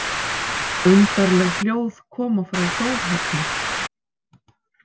Undarleg hljóð koma frá Þórhöllu.